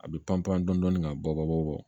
A bɛ pan pan dɔɔnin ka bɔ bɔ